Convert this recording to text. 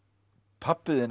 pabbi þinn